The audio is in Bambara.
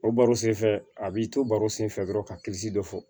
O baro senfɛ a b'i to baro sen fɛ dɔrɔn ka dɔ fɔ